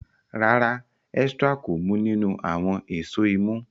ràrá Ezra kò mu ninu awọn Èṣó imú.